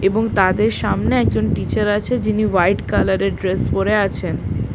এবং তাদের সামনে একজন টিচার আছে যিনি হোয়াইট কালার -এর ড্রেস পরে আছেন।